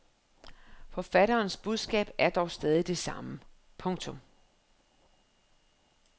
Forfatterens budskab er dog stadig det samme. punktum